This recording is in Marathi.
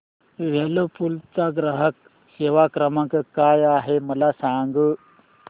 व्हर्लपूल चा ग्राहक सेवा क्रमांक काय आहे मला सांग